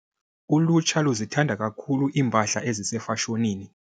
Ulutsha luzithanda kakhulu iimpahla ezisefashonini.